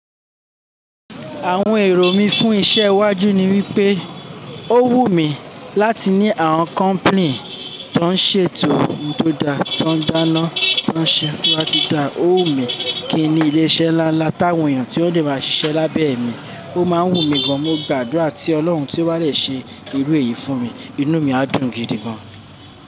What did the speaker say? Àwon èrò mi fún isé iwájú ni wípé ó wù mí láti ní àwon company tó ń ṣètò ohun tó da, tó ń dáná, tó ń ṣe kó má ti da. Ó wù mí kí n ní ilé-isé ńlá ńlá táwọn èèyàn tí ó le máa ṣiṣẹ́ lábé mi. Ó máa ń wù mí gan. Mo gbàdúrà tí Ọlọ́run tó wálẹ̀ ṣe irú èyí fún mi, inú mí á dùn gidi gan.